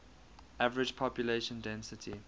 average population density